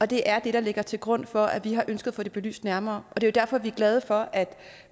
det er det der ligger til grund for at vi har ønsket at få det belyst nærmere det er jo derfor vi er glade for at